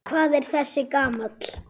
Hver er þessi Gamma?